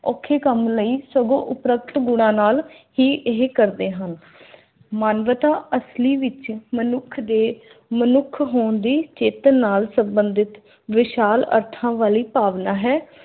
ਔਖੇ ਕੰਮ ਲਈ ਸਗੋਂ ਉਪਰਕਤ ਗੁਣਾਂ ਨਾਲ ਹੀ ਇਹ ਕਰਦੇ ਹਨ। ਮਾਨਵਤਾ ਅਸਲੀ ਵਿਚ ਮਨੁੱਖ ਦੇ ਮਨੁੱਖ ਹੋਣ ਦੀ ਚਿੱਤ ਨਾਲ ਸੰਬੰਧਿਤ ਵਿਸ਼ਾਲ ਅਰਥਾਂ ਵਾਲੀ ਭਾਵਨਾ ਹੈ।